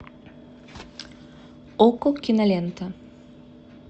окко кинолента